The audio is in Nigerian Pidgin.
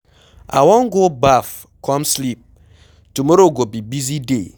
I wan go baff come sleep, tomorrow go be busy day.